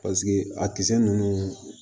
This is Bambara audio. Paseke a kisɛ ninnu